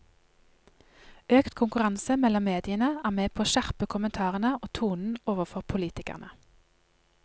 Økt konkurranse mellom mediene er med på å skjerpe kommentarene og tonen overfor politikerne.